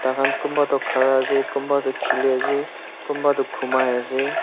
tahan kunba toh khara ase kunba toh khili ase kunba toh khumai ase.